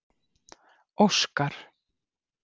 Óskar